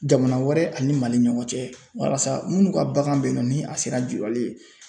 Jamana wɛrɛ ani MALI ɲɔgɔn cɛ walasa minnu ka bagan bɛ yennɔ ni a sera jurali ye.